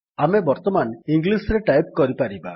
ଆମେ ବର୍ତ୍ତମାନ ଇଂଲିସ୍ ରେ ଟାଇପ୍ କରିପାରିବା